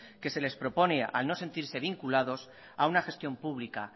que se les propone al no sentirse vinculados a una gestión pública